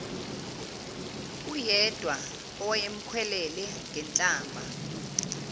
uyedwa owayemkhwelele ngenhlamba